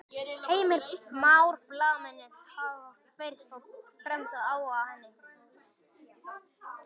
Heimir Már: Blaðamennirnir hafa fyrst og fremst áhuga á henni?